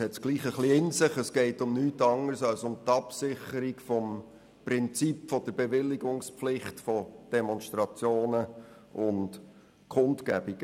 Es geht um die Absicherung des Prinzips der Bewilligungspflicht von Demonstrationen und Kundgebungen.